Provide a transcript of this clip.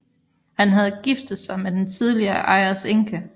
Han havde giftet sig med den tidligere ejers enke